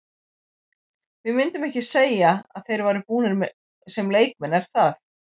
Við myndum ekki segja að þeir væru búnir sem leikmenn er það?